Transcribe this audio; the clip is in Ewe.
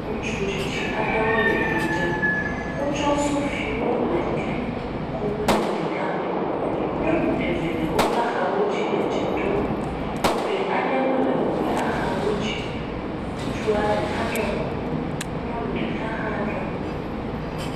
Ŋutsu tsitsi aɖe wole do ɖem, wotsɔ sofiwo le ke kum le do la me, nyɔnu eve le woƒe axawo dzi le dze ɖom, gbe aɖewo le woƒe axawo dzi, ŋutsua ɖeka ɖɔ kuku, nyɔnu ɖeka hã ɖɔ kuku.